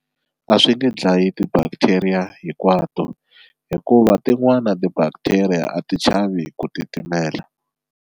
A swi nge dlayi ti-bacteria hinkwato hikuva tin'wana ti-bacteria a ti chavi ku titimela.